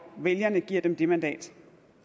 vælgerne giver dem det mandat